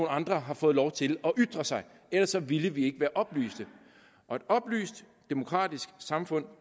andre har fået lov til at ytre sig ellers ville vi ikke være oplyste og et oplyst demokratisk samfund